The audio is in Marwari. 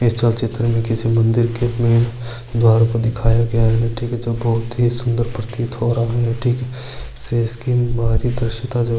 इस चलचित्र में किसी मन्दिर के द्वार को दिखाया गया है जो कि बहुत ही सुंदर प्रतीत हो रहा है